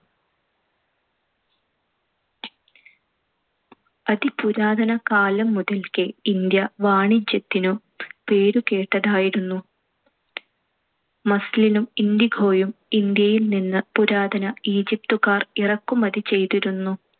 അതിപുരാതന കാലം മുതൽക്കേ ഇന്ത്യ വാണിജ്യത്തിനു പേരുകേട്ടതായിരുന്നു. Muslin ഉം indigo യും ഇന്ത്യയിൽ നിന്ന് പുരാതന ഈജിപ്തുകാർ ഇറക്കുമതി ചെയ്തിരുന്നു.